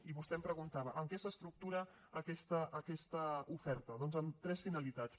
i vostè em preguntava en què s’estructura aquesta oferta doncs en tres finalitats